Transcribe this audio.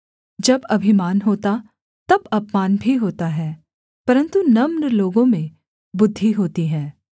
जब अभिमान होता तब अपमान भी होता है परन्तु नम्र लोगों में बुद्धि होती है